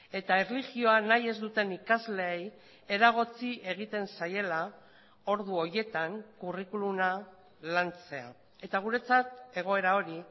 eta erlijioa nahi ez duten ikasleei eragotzi egiten zaiela ordu horietan curriculuma lantzea eta guretzat egoera hori